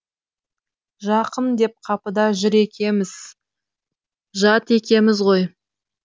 жақын деп қапыда жүр екеміз жат екеміз ғой